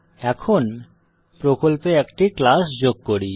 এখন প্রকল্পে একটি ক্লাস যোগ করি